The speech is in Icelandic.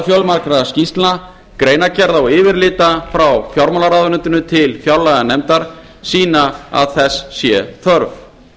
fjölmargra skýrslna greinargerða og yfirlita frá fjármálaráðuneytinu til fjárlaganefndar sýna að þess sé þörf